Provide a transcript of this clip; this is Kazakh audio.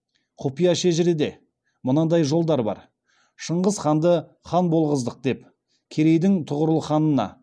құпия шежіреде мындай жолдар бар шыңғыс хағанды хан болғыздық деп керейдің тұғырылханына